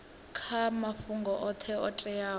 kha mafhungo oṱhe o teaho